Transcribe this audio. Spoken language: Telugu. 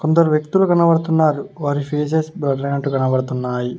కొందరు వ్యక్తులు కనబడుతున్నారు వారి ఫేసెస్ బ్లర్ ఐనట్టు కనబడుతున్నాయి.